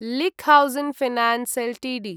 लिक् Housing Finance Ltd